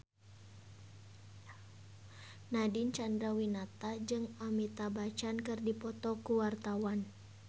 Nadine Chandrawinata jeung Amitabh Bachchan keur dipoto ku wartawan